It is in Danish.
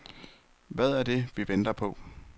Hvad er det, vi venter på.